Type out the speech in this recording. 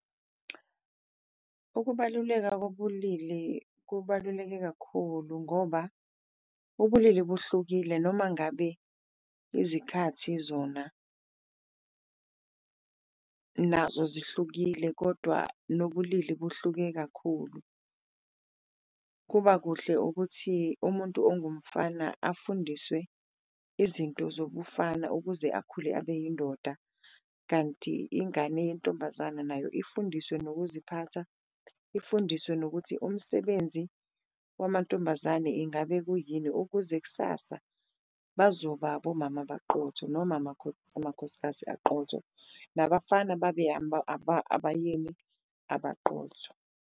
Ukubaluleka bobulili kubaluleke kakhulu ngoba ubulili buhlukile noma ngabe izikhathi zona nazo zihlukile kodwa nobulili kuhluke kakhulu, kuba kuhle ukuthi umuntu ongumfana afundiswe izinto zobufana ukuze akhule abe yindoda. Kanti ingane yentombazana nayo ifundiswe nokuziphatha, ifundiswe nokuthi umsebenzi wamantombazane ingabe kuyini, ukuze kusasa bazoba abomama abaqotho noma amakhosikazi aqotho, nabafana babe abayeni abaqotho.